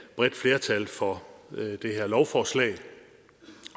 bredt flertal for det her lovforslag